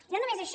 i no només això